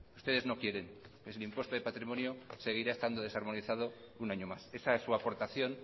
ustedes no quieren así el impuesto de patrimonio seguirá desarmonizado un año más esa es su aportación